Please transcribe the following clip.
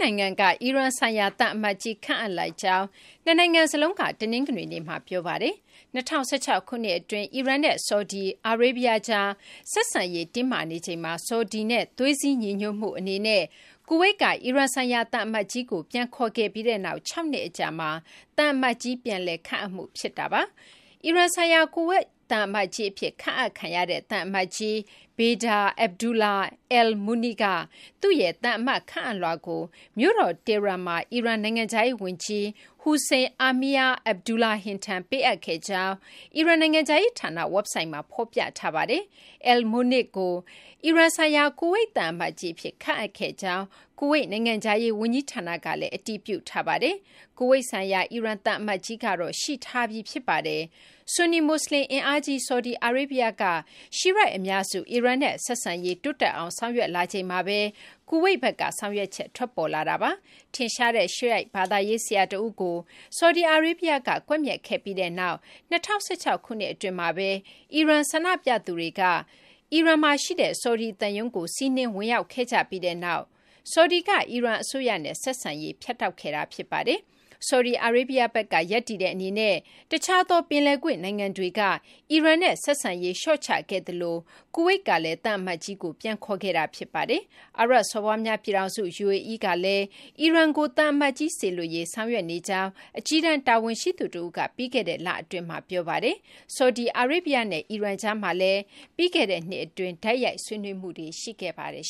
နိုင်ငံက အီရန် ဆိုင်ရာ သံအမတ်ကြီး ခန့်အပ်လိုက်ကြောင်း နှစ်နိုင်ငံ စလုံးက တနင်္ဂနွေနေ့မှာ ပြောပါတယ်။ ၂၀၁၆ ခုနှစ် အတွင်း အီရန်နဲ့ ဆော်ဒီအာရေးဗျကြား ဆက်ဆံရေး တင်းမာနေချိန်မှာ ဆော်ဒီနဲ့ သွေးစည်းညီညွတ်မှု အနေနဲ့ ကူဝိတ်က အီရန်ဆိုင်ရာ သံအမတ်ကြီးကို ပြန်ခေါ်ခဲ့ပြီးနောက် ၆ နှစ် အကြာမှာ သံအမတ်ကြီး ပြန်လည် ခန့်အပ်မှု ဖြစ်ပါတယ်။ အီရန်ဆိုင်ရာ ကူဝိတ် သံအမတ်ကြီး အဖြစ် ခန့်အပ်ခံရတဲ့ သံအမတ်ကြီး Bader Abdullah Al-Munaikh က သူ့ရဲ့ သံအမတ် ခန့်အပ်လွှာကို မြို့တော် Tehran မှာ အီရန် နိုင်ငံခြားရေး ဝန်ကြီး Hossein Amir-Abdollahian ထံ ပေးအပ်ခဲ့ကြောင်း အီရန် နိုင်ငံခြားရေး ဌာန ဝက်ဘ်ဆိုက်မှာ ဖော်ပြထားပါတယ်။ Al-Munaikh ကို အီရန်ဆိုင်ရာ ကူဝိတ် သံအမတ်ကြီး အဖြစ် ခန့်အပ်ခဲ့ကြောင်း ကူဝိတ် နိုင်ငံခြားရေး ဝန်ကြီးဌာန ကလည်း အတည်ပြုထားပါတယ်။ ကူဝိတ်ဆိုင်ရာ အီရန် သံအမတ်ကြီးကတော့ ရှိထားပြီး ဖြစ်ပါတယ်။ ဆွန်နီ မွတ်ဆလင် အင်အားကြီး ဆော်ဒီ အာရေဗျ က Shiite အများစု အီရန်နဲ့ ဆက်ဆံရေး တိုးတက်အောင် ဆောင်ရွက်လာမှု အတွက် ကူဝိတ်ဘက်က ဆောင်ရွက်ချက် ထွက်ပေါ်လာတာပါ။ ထင်ရှားတဲ့ Shiite ဘာသာရေး ဆရာ တဦးကို ဆော်ဒီအာရေဗျက ကွပ်မျက်ခဲ့ပြီးနောက် ၂၀၁၆ ခုနှစ် အတွင်းမှာဘဲ အီရန် ဆန္ဒပြသူတွေက အီရန်က ဆော်ဒီ သံရုံးကို စီးနင်းဝင်ရောက်ခဲ့ကြပြီးနောက်မှာ ဆော်ဒီက အီရန် အစိုးရနဲ့ ဆက်ဆံရေး ဖြတ်တောက်ခဲ့တာ ဖြစ်ပါတယ်။ ဆော်ဒီအာရေးဗျဘက်က ရပ်တည်တဲ့ အနေနဲ့ တခြားသော ပင်လယ်ကွေ့ နိုင်ငံတွေက အီရန်နဲ့ ဆက်ဆံရေး လျှော့ချခဲ့သလို ကူဝိတ်ကလည်း သံအမတ်ကြီးကို ပြန်ခေါ်ခဲ့တာ ဖြစ်ပါတယ်။ အာရပ်စော်ဘွားများ ပြည်ထောင်စု UAE ကလည်း အီရန်ကို သံအမတ်ကြီး စေလွှတ်ရေး ဆောင်ရွက်နေကြောင်း အကြီးတန်း တာဝန်ရှိသူ တဦးက ပြီးခဲ့တဲ့ လအတွင်းမှာ ပြောဆိုထားပါတယ်။ ဆော်ဒီအာရေဗျနဲ့ အီရန်ကြားမှာလည်း ပြီးခဲ့တဲ့နှစ်က တိုက်ရိုက် ဆွေးနွေးမှုတွေ ရှိခဲ့ပါတယ်